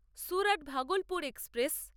Surat-Bhagalpur express